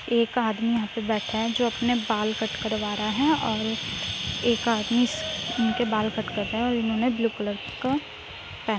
एक आदमी यहाँ पे बैठा है जो अपने बाल कट करवा रहा है और एक आदमी इस इनके बाल कट कर रहा है और इन्होंने ब्लू कलर का पह --